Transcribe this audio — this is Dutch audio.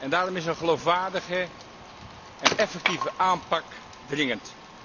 Daarom is een geloofwaardige en effectieve aanpak dringend.